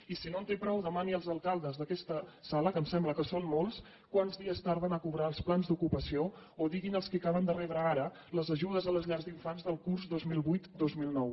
i si no en té prou demani als alcaldes d’aquesta sala que em sembla que són molts quants dies tarden a cobrar els plans d’ocupació o diguin els qui acaben de rebre ara les ajudes a les llars d’infants del curs dos mil vuitdos mil nou